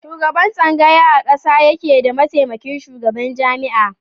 Shugaban tsangaya a ƙasa yake da mataimakin shugaban jami'a.